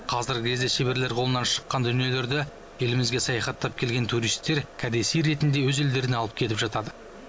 қазіргі кезде шеберлер қолынан шыққан дүниелерді елімізге саяхаттап келген туристер кәдесый ретінде өз елдеріне алып кетіп жатады